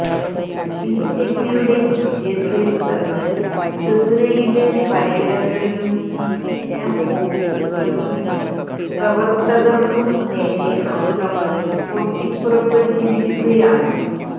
ബിജെപിയുടെ വിജയത്തെ തുടര്ന്ന് ത്രിപുരയില് പലയിടങ്ങളിലും സിപിഎം ഓഫീസുകള്ക്കും പ്രവര്ത്തകര്ക്കും നേരെ അക്രമം പൊട്ടിപ്പുറപ്പെട്ടിരിക്കുകയാണ്